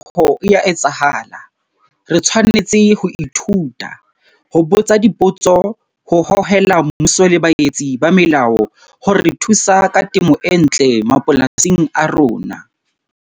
Re tshwanetse ho lemoha hore phetoho e a etsahala, re tshwanetse ho ithuta, ho botsa dipotso, ho hohela mmuso le baetsi ba melao ho re thusa ka temo e ntle mapolasing a rona.